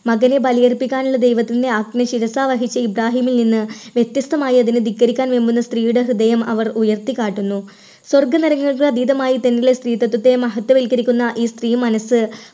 മതം വിപുലീകരിപ്പിക്കാനുള്ള ദൈവത്തിൻറെ ആജ്ഞ ശിരസാൽ വഹിച്ച ഇബ്രാഹിമിൽ നിന്ന് വ്യത്യസ്തമായി അതിനെ ധിക്കരിക്കാൻ വെമ്പുന്ന സ്ത്രീയുടെ ഹൃദയം അവർ ഉയർത്തിക്കാട്ടുന്നു. സ്വർഗ-നരകങ്ങൾക്ക് അതീതമായി തങ്ങളിലെ സ്ത്രീത്വത്തെ മഹത്വവൽക്കരിക്കുന്ന ഈ സ്ത്രീ മനസ്സ്